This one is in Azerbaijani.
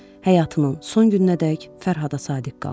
Həyatının son gününədək Fərhada sadiq qaldı.